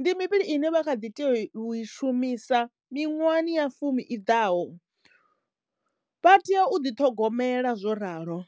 ndi mivhili ine vha kha ḓi teyo u i shumisa miṅwahani ya fumi i ḓaho. Vha tea u ḓi ṱhogomela zwo ralo.